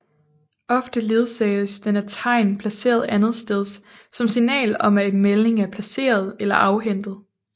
Ofte ledsages den af tegn placeret andetsteds som signal om at en melding er placeret eller afhentet